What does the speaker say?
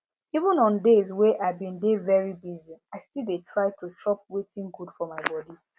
even on days wey i been dey very busy i still dey try to chop wetin good for my body